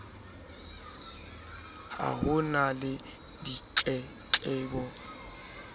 ha ho na le ditletlebo